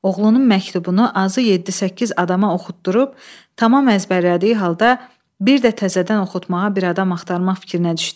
Oğlunun məktubunu azı yeddi-səkkiz adama oxutdurub, tamam əzbərlədiyi halda bir də təzədən oxutmağa bir adam axtarmaq fikrinə düşdü.